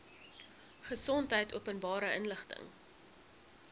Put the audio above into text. gesondheid openbare inligting